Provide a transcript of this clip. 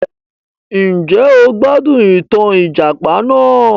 Njẹ́ o gbádùn ìtàn ìjàpà náà?